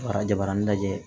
Arajobanani lajɛ